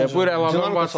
Buyur əlavən varsa.